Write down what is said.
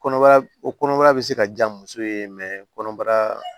Kɔnɔbara o kɔnɔbara bɛ se ka diya muso ye kɔnɔbara